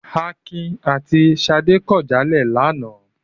Akin àti Ṣadé kọ jáde lánàá.